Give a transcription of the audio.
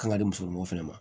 Kan ka di musomanw fɛnɛ ma